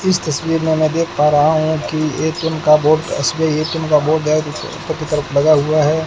इस तस्वीर मे मैं देख पा रहा हूं की एक टीन का बोर्ड एक टीन का बोर्ड है जो ऊपर की तरफ लगा हुआ है।